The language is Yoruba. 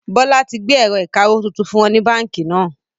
Bọlá tí gbé ẹ̀rọ ìkawó tuntun fún wọn ní báńkì náà